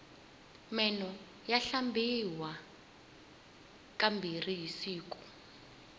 meno ya hlambiwa ka mbirhi hi siku